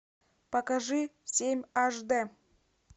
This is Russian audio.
покажи семь аш дэ